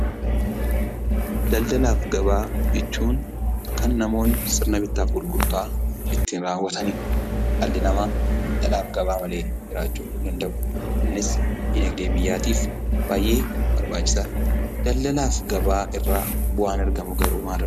Daldalaaf gabaa jechuun kan namoonni sirna bittaaf gurgurtaa ittiin raawwatanidha. Dhalli namaa daldalaaf gabaa malee jiraachuu hin danda'u. Innis diinagdee biyyaatiif baay'ee barbaachisa. Daldalaaf gabaa irraa bu'aan argamu garuu maaloodha?